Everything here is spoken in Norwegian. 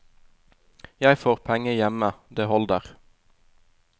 Jeg får penger hjemme, det holder.